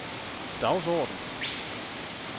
dagsorden